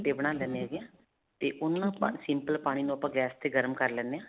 ਗੱਟੇ ਬਣਾ ਲੈਂਦੇ ਹੈਗੇ ਹਾਂ. ਤੇ ਉਹਨੂੰ ਨਾ ਆਪਾਂ simple ਪਾਣੀ ਨੂੰ ਆਪਾਂ gas ਤੇ ਗਰਮ ਕਰ ਲੈਂਦੇ ਹਾਂ.